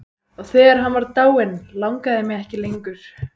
Og þegar hann var dáinn langaði mig ekki lengur.